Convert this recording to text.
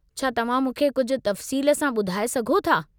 छा तव्हां मूंखे कुझु तफ़सील सां ॿुधाए सघो था?